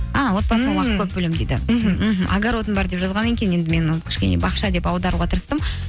огородым бар деп жазған екен енді мен оны кішкене бақша деп аударуға тырыстым